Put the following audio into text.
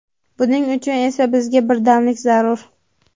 Buning uchun esa bizga birdamlik zarur.